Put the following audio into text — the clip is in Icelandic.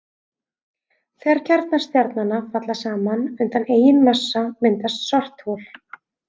Þegar kjarnar stjarnanna falla saman undan eigin massa myndast svarthol.